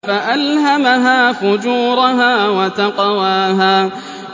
فَأَلْهَمَهَا فُجُورَهَا وَتَقْوَاهَا